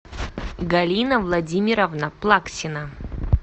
галина владимировна плаксина